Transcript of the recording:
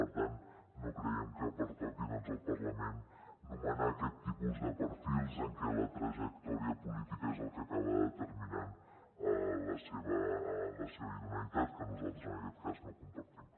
per tant no creiem que pertoqui doncs al parlament nomenar aquest tipus de perfils en què la trajectòria política és el que acaba determinant la seva idoneïtat que nosaltres en aquest cas no compartim